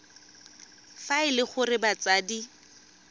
fa e le gore batsadi